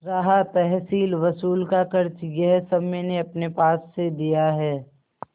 रहा तहसीलवसूल का खर्च यह सब मैंने अपने पास से दिया है